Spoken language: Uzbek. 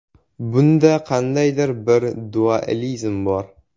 Bunda qandaydir bir dualizm bor.